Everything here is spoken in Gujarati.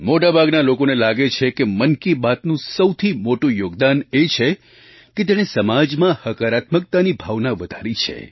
મોટા ભાગના લોકોને લાગે છે કે મન કી બાતનું સૌથી મોટું યોગદાન એ છે કે તેણે સમાજમાં હકારાત્મકતાની ભાવના વધારી છે